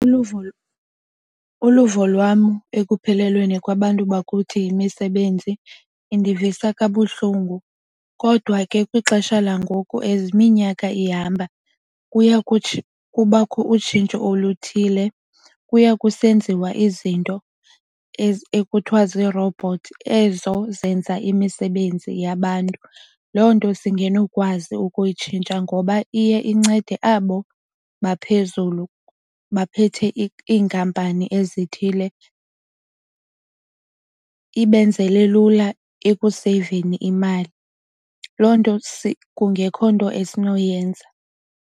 Uluvo lwam ekuphelelweni kwabantu bakuthi yimisebenzi indivisa kabuhlungu kodwa ke kwixesha langoku as iminyaka ihamba kuya kubakho utshintsho oluthile. Kuya kusenziwa izinto ekuthiwa ziirobhothi ezo zenza imisebenzi yabantu. Loo nto singenokwazi ukuyitshintsha ngoba iye incede abo baphezulu baphethe iinkampani ezithile ibenzele lula ekuseyiveni imali, loo nto kungekho nto esinoyenza.